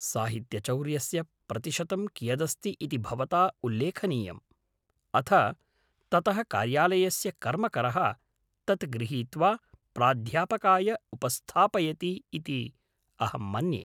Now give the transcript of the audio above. साहित्यचौर्यस्य प्रतिशतं कियदस्ति इति भवता उल्लेखनीयं, अथ ततः कार्यालयस्य कर्मकरः तत् गृहीत्वा प्राध्यापकाय उपस्थापयति इति अहं मन्ये।